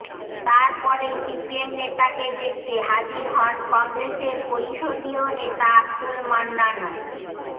তার পরেই সিপিএম নেতাকে দেখতে হাজির হন কংগ্রেসের পরিষদীয় নেতা আব্দুল মান্নানও